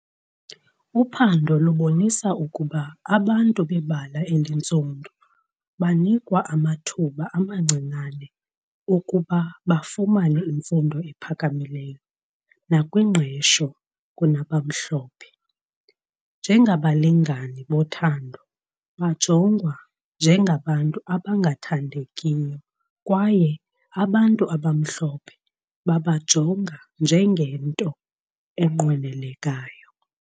Uphando lubonisa ukuba abantu bebala elintsundu banikwa abathuba amancinane ukuba bafumane imfundo ephakamileyo nakwingqesho kunabamhlophe . Njengabalingani bothando, bajongwa njengabantu abangathandekiyo kwaye abantu abamhlophe babajongwa njengento enqwenelekayo.